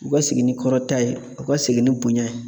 U ka segin ni kɔrɔta ye, u ka segin ni bonya ye.